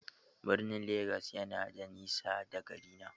Birnin Legas yana da nisa da garina.